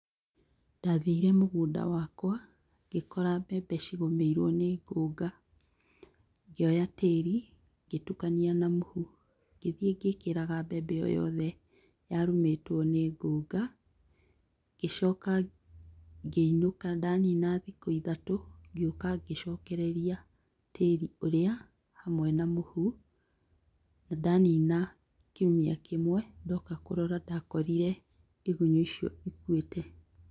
Ndathire mũgũnda wakwa, ngĩkora mbembe cigũmĩirwo nĩ ngũnga. Ngĩoya tĩro ngĩtukania na mũhu, ngĩthiĩ ngĩkĩraga mbembe o yothe yarũmĩtwo nĩ ngũnga ngĩcoka ngĩinũka. Ndanina thikũ ithatũ ngĩũka ngĩcokereria tĩri ũrĩa hamwe na mũhu . Ndanina kiumia kĩmwe, ndoka kũrora ndakorire igunyũ icio ikuĩte.